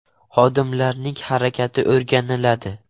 Xodimlarning harakati o‘rganiladi.